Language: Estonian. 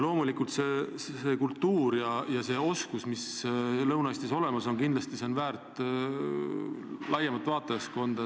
Loomulikult see kultuur ja need oskused, mis Lõuna-Eestis olemas on, on väärt laiemat vaatajaskonda.